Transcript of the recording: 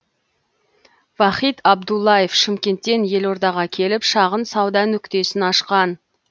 вахит абдуллаев шымкенттен елордаға келіп шағын сауда нүктесін ашқан